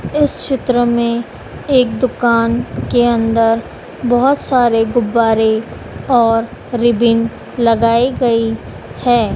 इस चित्र में एक दुकान के अंदर बहोत सारे गुब्बारे और रिबिन लगाई गई है।